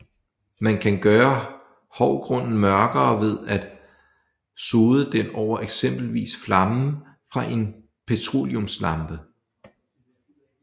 Man kan gøre hårdgrunden mørkere ved at sode den over eksempelvis flammen fra en petroleumslampe